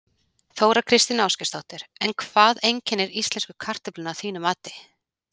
Þóra Kristín Ásgeirsdóttir: En hvað einkennir íslensku kartöfluna að þínu mati?